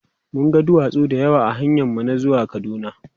mun ga duwatsu da yawa ahanyan mu na zuwa kaduna